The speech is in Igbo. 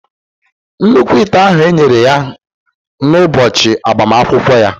nnukwu ite ahụ e nyere ya kn ụbọchị agbamakwụkwọ ya